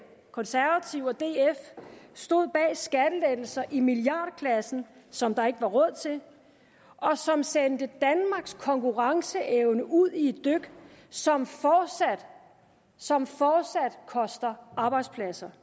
konservative og df stod bag skattelettelser i milliardklassen som der ikke var råd til og som sendte danmarks konkurrenceevne ud i et dyk som som fortsat koster arbejdspladser